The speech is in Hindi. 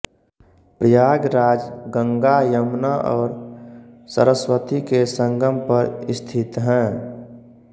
प्रयागराज गंगा यमुना और सरस्वती के संगम पर स्थित हैं